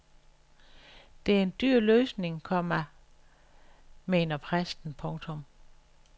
Det er en dyr løsning, komma , komma mener præsten. punktum